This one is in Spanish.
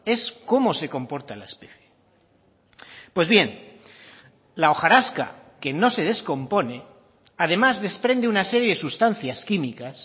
es cómo se comporta la especie pues bien la hojarasca que no se descompone además desprende una serie de sustancias químicas